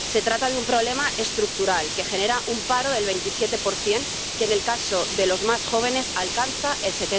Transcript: Se trata de un problema estructural, que genera un paro del 27 que, en el caso de los más jóvenes, alcanza el